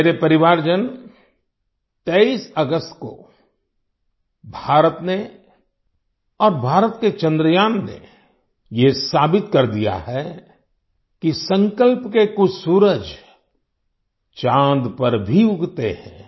मेरे परिवारजन 23 अगस्त को भारत ने और भारत के चंद्रयान ने ये साबित कर दिया है कि संकल्प के कुछ सूरज चाँद पर भी उगते हैं